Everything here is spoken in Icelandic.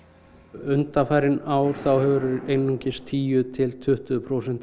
undanfarin ár hefur einungis tíu til tuttugu prósent af